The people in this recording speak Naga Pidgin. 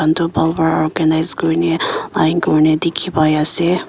eduhan tu bhal pa organise kurine line kurene dikhipaiase.